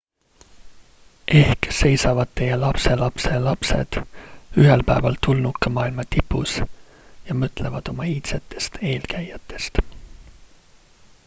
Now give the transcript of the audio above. ehk seisavad teie lapselapselapsed ühel päeval tulnukamaailma tipus ja mõtlevad oma iidsetest eelkäijatest